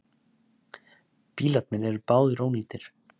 Bílarnir eru báðir ónýtir